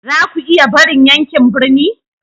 Za ku iya barin yankin birni?